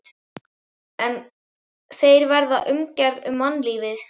En þeir verða umgerð um mannlífið.